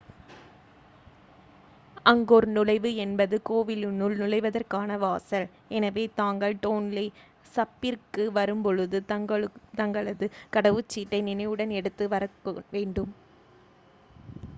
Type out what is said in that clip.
Angkor நுழைவு என்பது கோவிலுனுள் நுழைவதற்கான வாசல் எனவே தாங்கள் டோன்லே சப்பிர்க்கு வரும்பொழுது தங்களது கடவுச்சீட்டை நினைவுடன் எடுத்து வரவேண்டும்